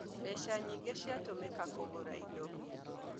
Mbeca nyingĩ ciatũmĩka kũgũra indo